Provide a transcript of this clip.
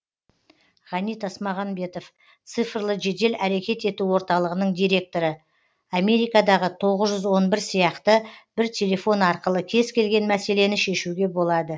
ғани тасмағанбетов цифрлы жедел әрекет ету орталығының директоры америкадағы тоғыз жүз он бір сияқты бір телефон арқылы кез келген мәселені шешуге болады